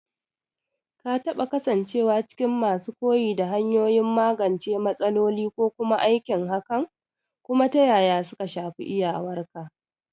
Ka taɓa kasancewa cikin masu koyi da hanyoyin magance matsaloli ko kuma aikin hakan, kuma ta yaya suka shafi iyawarka?